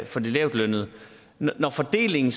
for de lavtlønnede når fordelingen